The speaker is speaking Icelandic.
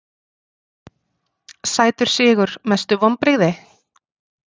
sætur sigur Mestu vonbrigði?